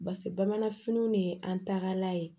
Base bamananfiniw de ye an tagalan ye